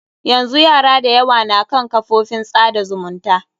Yanzu yara da yawa na kan kafofin tsada zumunta.